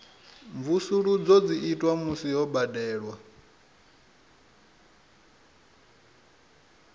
mvusuludzo dzi itwa musi ho badelwa